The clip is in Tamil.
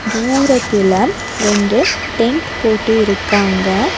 தூரத்துல ரெண்டு டென்ட் போட்டு இருக்காங்க.